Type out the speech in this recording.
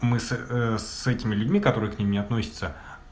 мы с с этими людьми которые к ним не относится